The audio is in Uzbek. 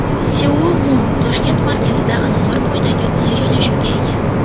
Seoul Mun Toshkent markazida anhor bo‘yidagi qulay joylashuvga ega.